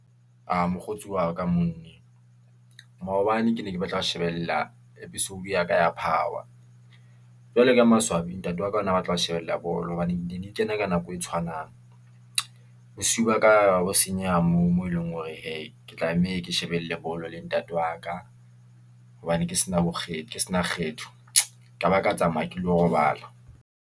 Mokgotsi wa ka , maobane ke ne ke batla ho shebella episode ya ka ya power, jwale ka maswabi ntate wa ka o na a batla ho shebella bolo hobane ne di kena ka nako e tshwanang. Bosiu ba ka ba senyeha moo, moo e leng hore hee, ke tlameha ke shebelle bolo le ntate wa ka, hobane ke sena bo ke se na kgetho ka ba ka tsamaya ke lo robala.